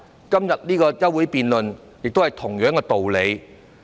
今天這項休會辯論，亦是同樣道理。